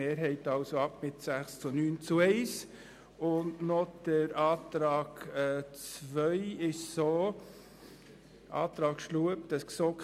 Den Antrag II hat die GSoK mit 6 Ja- zu 10 Nein-Stimmen bei 0 Enthaltungen abgelehnt.